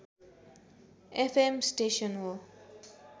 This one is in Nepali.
एफएम स्टेसन हो